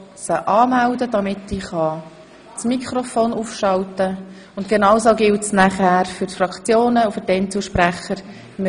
Sie wird zu allem sprechen, und dasselbe gilt auch für die Fraktionen und die Einzelsprecher.